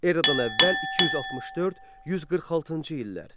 Eradan əvvəl 264-146-cı illər.